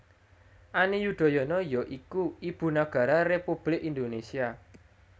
Ani Yudhoyono ya iku Ibu Nagara Republik Indonésia